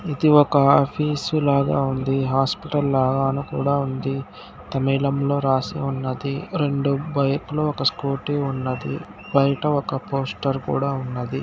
ఇది ఒక ఆఫీసు లాగా ఉంది. హాస్పిటల్ లాగా కూడా ఉంది. తమిళంలో రాసి ఉన్నది. రెండు బైకు లు ఒక స్కూటీ ఉన్నది. బయట ఒక పోస్టర్ కూడా ఉన్నది.